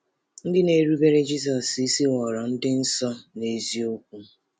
Ndị na-erubere Jizọs isi ghọrọ ndị nsọ n’eziokwu.